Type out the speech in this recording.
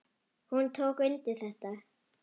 Hún tók undir þetta.